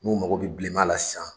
N'u mago bɛ bilema la sisan